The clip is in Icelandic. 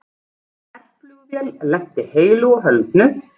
Herflugvél lenti heilu og höldnu